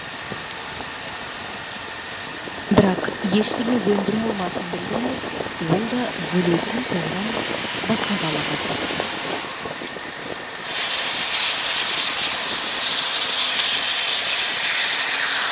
бірақ ештеңе өндіре алмасын білді ме ол да бөлесінің соңынан басқа қалаға кетті